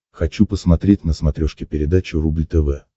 хочу посмотреть на смотрешке передачу рубль тв